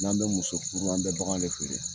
N'an bɛ muso furu an bɛ bagan de feere